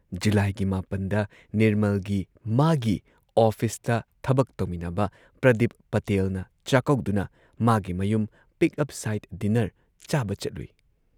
ꯖꯨꯂꯥꯏꯒꯤ ꯹ꯗ ꯅꯤꯔꯃꯜꯒꯤ ꯃꯥꯒꯤ ꯑꯣꯐꯤꯁꯇ ꯊꯕꯛ ꯇꯧꯃꯤꯟꯅꯕ ꯄ꯭ꯔꯗꯤꯞ ꯄꯇꯦꯜꯅ ꯆꯥꯛꯀꯧꯗꯨꯅ ꯃꯥꯒꯤ ꯃꯌꯨꯝ ꯄꯤꯛꯑꯞ ꯁꯥꯢꯗ ꯗꯤꯟꯅꯔ ꯆꯥꯕ ꯆꯠꯂꯨꯏ ꯫